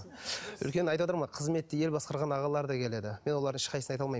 өйткені айтыватырмын ғой қызметте ел басқарған ағалар да келеді мен олардың ешқайсысын айта алмаймын